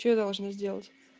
что должны сделать